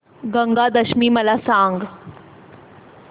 गंगा दशमी मला सांग